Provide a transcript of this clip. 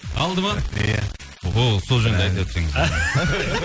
алды ма иә о сол жөнінде айтып өтсеңіз